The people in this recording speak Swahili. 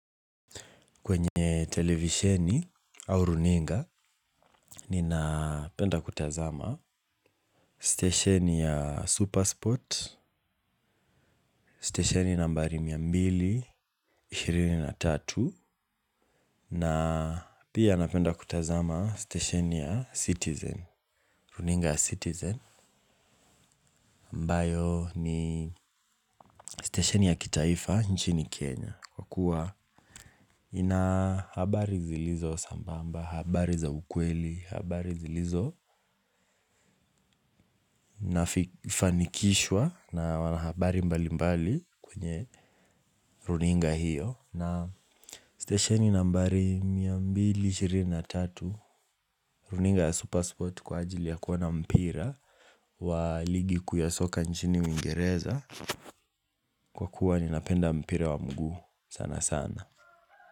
Kwenye televisheni au runinga ninapenda kutazama stesheni ya Supersport, stesheni nambari mia mbili, ishirini na tatu na pia napenda kutazama stesheni ya Citizen. Runinga ya Citizen mbayo ni stesheni ya kitaifa nchini Kenya. Kwa kuwa ina habari zilizo sambamba, habari za ukweli, habari zilizo nafanikishwa na wanahabari mbalimbali kwenye runinga hiyo. Na stesheni nambari mia mbili ishirini na tatu runinga ya supersport kwa ajili ya kuona mpira wa ligi kuu ya soka nchini uingereza. Kwa kuwa ninapenda mpira wa mguu sanasana.